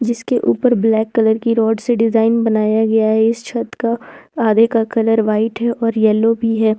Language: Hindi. जिसके ऊपर ब्लैक कलर की रॉड से डिजाइन बनाया गया है इस छत का आगे का कलर व्हाइट है और येलो भी है।